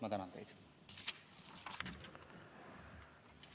Ma tänan teid!